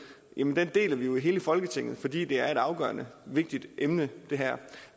deler vi jo i hele folketinget fordi det her er et afgørende og vigtigt emne